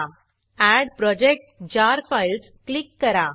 add project jar files add project jar files click करा